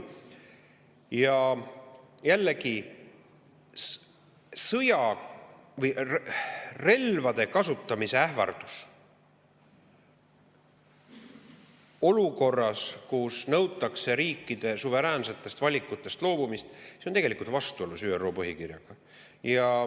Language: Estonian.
Ja jällegi, relvade kasutamise ähvardus olukorras, kus nõutakse riikide suveräänsetest valikutest loobumist, on tegelikult vastuolus ÜRO põhikirjaga.